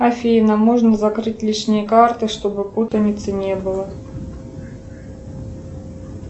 афина можно закрыть лишние карты чтобы путаницы не было